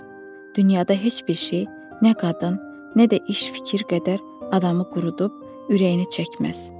Dünyada heç bir şey nə qadın, nə də iş fikir qədər adamı qurudub ürəyini çəkməz.